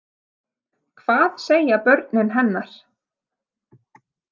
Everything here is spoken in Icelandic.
Hvað segja börnin hennar?